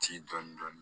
Ci dɔɔnin dɔɔnin